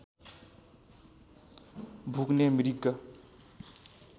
भुक्ने मृग